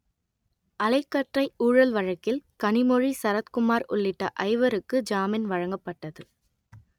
அலைக்கற்றை ஊழல் வழக்கில் கனிமொழி சரத்குமார் உள்ளிட்ட ஐவருக்கு ஜாமின் வழங்கப்பட்டது